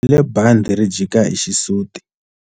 U bohile bandhi ri jika hi xisuti.